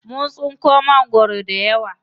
Mun tsinko mangwaro dayawa.